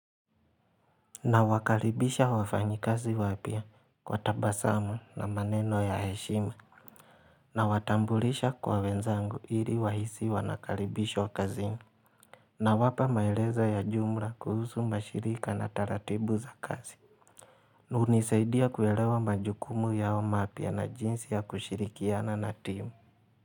Na wakaribisha wafanyi kazi wapya kwa tabasamu na maneno ya heshima na watambulisha kwa wenzangu hili wahisi wanakalibishwa kazi na wapa maelezo ya jumla kuhusu mashirika na taratibu za kazi hunisaidia kuelewa majukumu yao mapya na jinsi ya kushirikiana na timu.